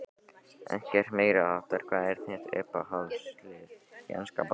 Ekkert meiriháttar Hvað er þitt uppáhaldslið í enska boltanum?